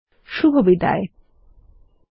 এই টিউটোরিয়ালে অংশগ্রহন করার জন্য ধন্যবাদ